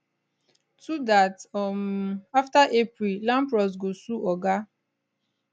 two dats um afta april lampros go sue oga